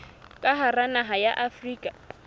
ka hara naha ya afrika